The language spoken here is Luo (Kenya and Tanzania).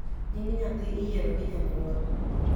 Nying nyathi iyieo gi janyuol